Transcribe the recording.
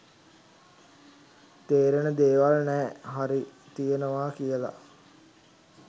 තේරෙන දේවල් නෑ හරි තියෙනවා කියලා